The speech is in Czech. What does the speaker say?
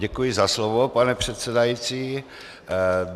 Děkuji za slovo, pane předsedající.